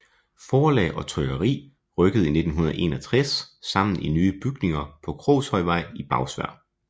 Forlag og trykkeri rykkede i 1961 sammen i nye bygninger på Krogshøjvej i Bagsværd